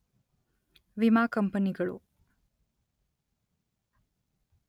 ವಿಮಾ ಕಂಪನಿಗಳು